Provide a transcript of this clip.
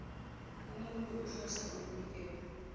umuntu ohlose ukunikela